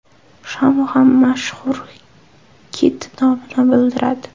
Shamu ham mashhur kit nomini bildiradi.